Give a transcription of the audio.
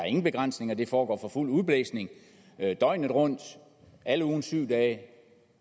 ingen begrænsninger det foregår for fuld udblæsning døgnet rundt alle ugens syv dage